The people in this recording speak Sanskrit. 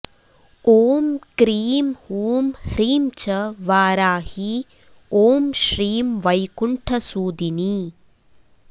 ॐ क्रीं हूं ह्रीं च वाराही ॐ श्रीं वैकुण्ठसूदिनी